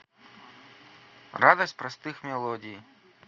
радость простых мелодий